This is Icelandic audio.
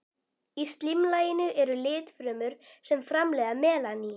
Í slímlaginu eru litfrumur sem framleiða melanín.